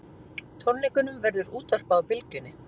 Tónleikunum verður útvarpað á Bylgjunni